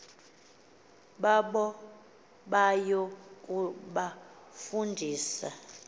babo baya kubafundisa